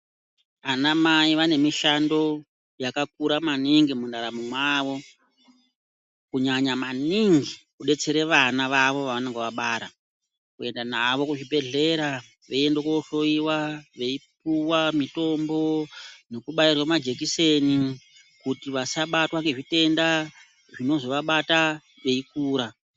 Anamai vane mishando yakakura maningi mundaramo mwavo kunyanya maningi kudetsere vana vavo vavanenge vabara kuenda navo kuzvibhedhler a